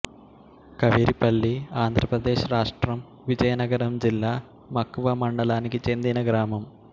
ఖవిరిపల్లి ఆంధ్ర ప్రదేశ్ రాష్ట్రం విజయనగరం జిల్లా మక్కువ మండలానికి చెందిన గ్రామం